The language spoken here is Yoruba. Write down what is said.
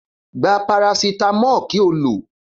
Gba parasitamọ kí o ló.